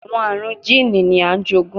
Awọn arun jiini ni a jogun